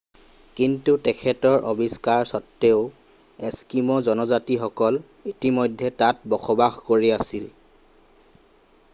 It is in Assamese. কিন্তু তেখেতৰ আৱিষ্কাৰ সত্ত্বেও এস্কিম' জনজাতিসকলে ইতিমধ্যে তাত বসবাস কৰি আছিল